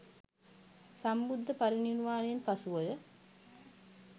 සම්බුද්ධ පරිනිර්වාණයෙන් පසුවය.